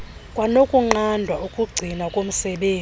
kwanokunqanda ukugcinwa komsebenzi